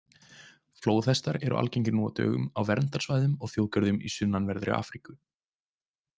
Flóðhestar eru algengir nú á dögum á verndarsvæðum og þjóðgörðum í sunnanverðri Afríku.